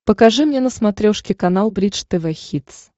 покажи мне на смотрешке канал бридж тв хитс